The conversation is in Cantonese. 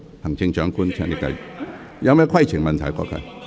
行政長官，請你繼續發言。